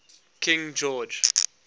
king george